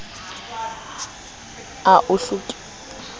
ao ho lekwang ho a